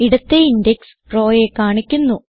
ഇടത്തേ index row യെ കാണിക്കുന്നു